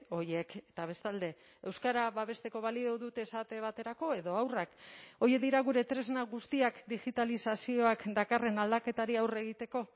horiek eta bestalde euskara babesteko balio dute esate baterako edo haurrak horiek dira gure tresna guztiak digitalizazioak dakarren aldaketari aurre egiteko